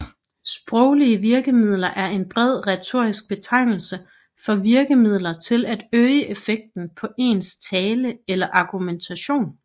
Sproglige virkemidler er en bred retorisk betegnelse for virkemidler til at øge effekten på ens tale eller argumentation